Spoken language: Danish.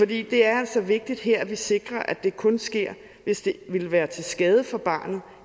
det er altså vigtigt her at vi sikrer at det kun sker hvis det ville være til skade for barnet